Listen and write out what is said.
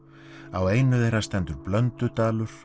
á einu þeirra stendur